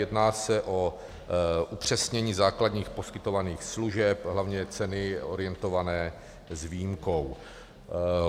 Jedná se o upřesnění základních poskytovaných služeb, hlavně ceny orientované s výjimkou.